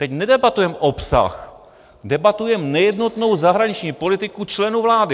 Teď nedebatujeme obsah, debatujeme nejednotnou zahraniční politiku členů vlády.